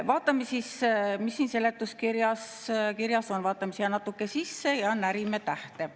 Vaatame siis, mis siin seletuskirjas kirjas on, vaatame siia natuke sisse ja närime tähte.